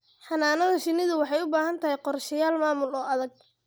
Xannaanada shinnidu waxay u baahan tahay qorshayaal maamul oo adag.